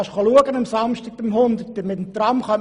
Du kannst das am Samstag beim Hundermeterlauf sehen.